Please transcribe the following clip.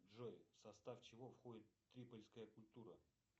джой в состав чего входит трипольская культура